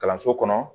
Kalanso kɔnɔ